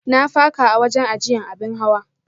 Na faka a wajen ajiyya abin hawa.